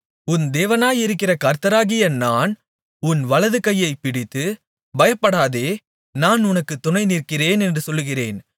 உன் தேவனாயிருக்கிற கர்த்தராகிய நான் உன் வலதுகையைப் பிடித்து பயப்படாதே நான் உனக்குத் துணைநிற்கிறேன் என்று சொல்கிறேன்